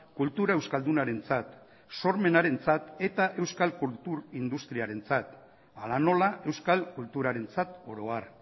kultura euskaldunarentzat sormenarentzat eta euskal kultur industriarentzat hala nola euskal kulturarentzat oro har